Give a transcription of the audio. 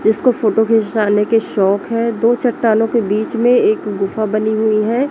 जिसको फोटो खिंचवाने के शौक हैं दो चट्टानों के बीच में एक गुफा बनी हुई है।